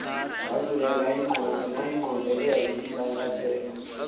wazulelwa nayingqondo eyayisintantatheka